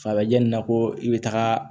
Farikolo yanni ko i bɛ taga